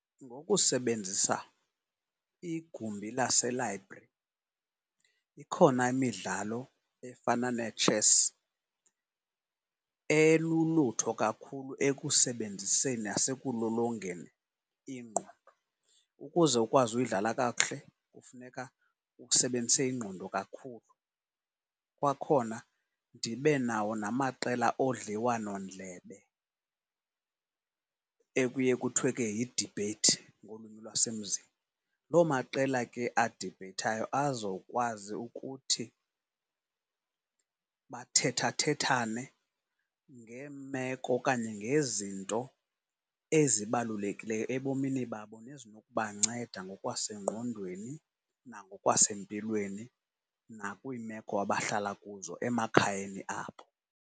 Ngokusebenzisa igumbi lase-library ikhona imidlalo efana netshesi elulutho kakhulu ekusebenziseni nasekulolongeni ingqondo. Ukuze ukwazi uyidlala kakuhle kufuneka usebenzise ingqondo kakhulu. Kwakhona ndibe nawo namaqela odliwanondlebe ekuye kuthwe ke yidibheyithi ngolwimi lwasemzini. Loo maqela ke adibheyithayo azokwazi ukuthi bathethathethane ngeemeko okanye ngezinto ezibalulekileyo ebomini babo nezinokubanceda ngokwasengqondweni nangokwasempilweni nakwiimeko abahlala kuzo emakhayeni abo.